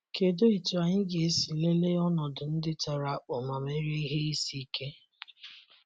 Kedụ etú anyị ga esi lelee ọnọdụ ndị tara akpụ ma merie ihe isi ike?